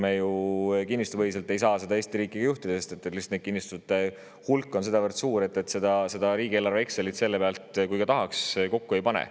Aga kinnistupõhiselt ei saa me ju Eesti riiki juhtida, sest kinnistute hulk on lihtsalt sedavõrd suur, et riigieelarve Exceli selle pealt, kui ka tahaks, kokku ei pane.